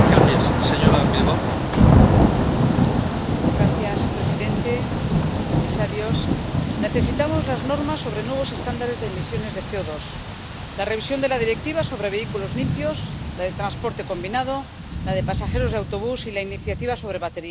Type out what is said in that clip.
Señor presidente, comisarios, necesitamos las normas sobre nuevos estándares de emisiones de CO2, la revisión de la Directiva sobre vehículos limpios, la de transporte combinado, la de pasajeros de autobús y la iniciativa sobre baterías.